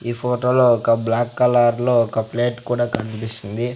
ఈ ఫోటోలో ఒక బ్లాక్ కలర్ లో ఒక ప్లేట్ కూడా కనిపిస్తుంది.